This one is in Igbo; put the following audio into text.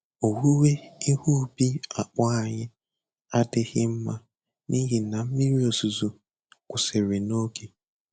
Owuwe ihe ubi akpụ anyị adịghị mma n'ihi na mmiri ozuzo kwụsịrị n'oge.